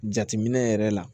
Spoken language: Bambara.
Jateminɛ yɛrɛ la